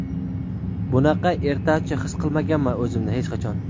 Bunaqa ertachi his qilmaganman o‘zimni hech qachon .